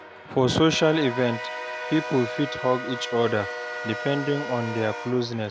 For social events, pipo fit hug each other, depending on their closeness